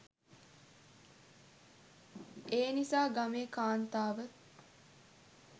එනිසා ගමේ කාන්තාව